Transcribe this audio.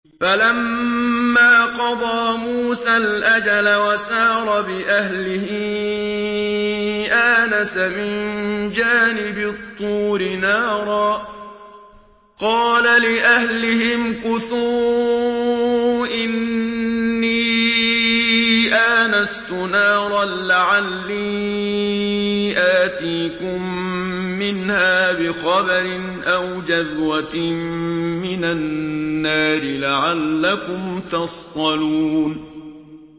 ۞ فَلَمَّا قَضَىٰ مُوسَى الْأَجَلَ وَسَارَ بِأَهْلِهِ آنَسَ مِن جَانِبِ الطُّورِ نَارًا قَالَ لِأَهْلِهِ امْكُثُوا إِنِّي آنَسْتُ نَارًا لَّعَلِّي آتِيكُم مِّنْهَا بِخَبَرٍ أَوْ جَذْوَةٍ مِّنَ النَّارِ لَعَلَّكُمْ تَصْطَلُونَ